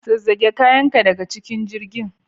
Zazzage kayan daga cikin jirgin.